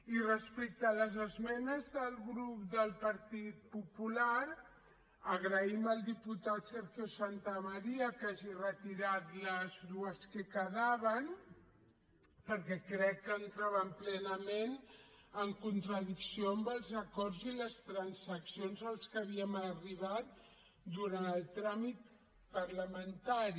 i respecte a les esmenes del grup del partit popular agraïm al diputat sergio santamaría que hagi retirat les dues que quedaven perquè crec que entraven plenament en contradicció amb els acords i les transaccions a les que havíem arribat durant el tràmit parlamentari